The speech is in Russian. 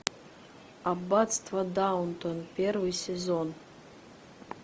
аббатство даунтаун первый сезон